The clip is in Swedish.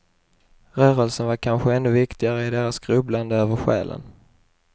Rörelsen var kanske ännu viktigare i deras grubblande över själen.